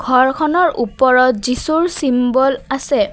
ঘৰখনৰ ওপৰত যীচুৰ চিম্বল আছে।